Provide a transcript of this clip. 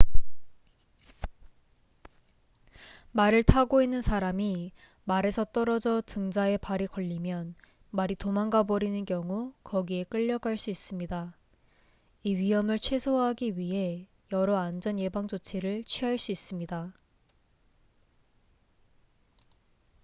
말을 타고 있는 사람이 말에서 떨어져 등자에 발이 걸리면 말이 도망가 버리는 경우 거기에 끌려갈 수 있습니다 이 위험을 최소화하기 위해 여러 안전 예방 조치를 취할 수 있습니다